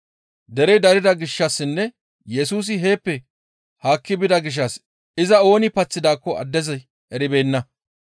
Derey darida gishshassinne Yesusi heeppe haakki bida gishshas iza ooni paththidaakko addezi eribeenna.